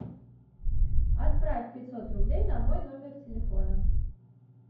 отправь пятьсот рублей на мой номер телефона